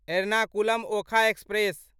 Ernakulam Okha express